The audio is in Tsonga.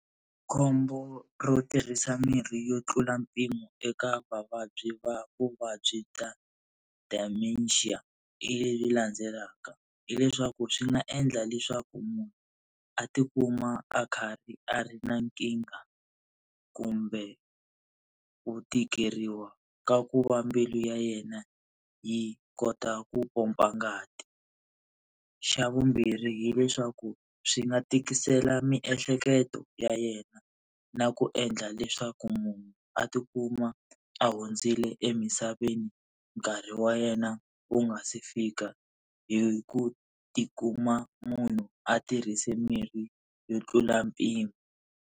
Khombo ro tirhisa mirhi yo tlula mpimo eka vavabyi va vuvabyi bya dementia hi leyi landzelaka. Hi leswaku swi nga endla leswaku munhu a tikuma a karhi a ri na nkingha kumbe ku tikeriwa ka ku va mbilu ya yena yi kota ku pompa ngati. Xa vumbirhi hileswaku swi nga tikisela miehleketo ya yena na ku endla leswaku munhu a tikuma a hundzile emisaveni nkarhi wa yena wu nga si fika, hi ku tikuma munhu a tirhise mirhi yo tlula mpimo.